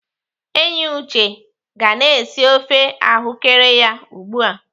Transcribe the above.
Enyi Uche ga na-esi ofe ahụ́kere ya ugbu a.